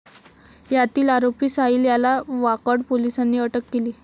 यातील आरोपी साहिल याला वाकड पोलिसांनी अटक केली.